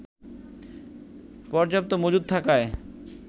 পর্যাপ্ত মজুদ থাকায়